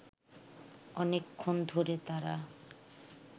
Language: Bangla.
অনেকক্ষণ ধরে তারা